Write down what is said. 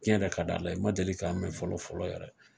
Tiɲɛ de ka d'Ala ye , n ma deli ka mɛn fɔlɔ fɔlɔ yɛrɛ de.